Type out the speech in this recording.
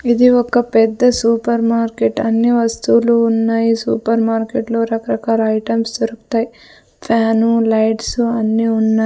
ఇది ఒక పెద్ద సూపర్ మార్కెట్ అన్ని వస్తువులు ఉన్నాయి ఈ సూపర్ మార్కెట్లో రకరకాల ఐటమ్స్ దొరుకుతాయి ఫ్యాను లైట్స్ అన్ని ఉన్నాయి.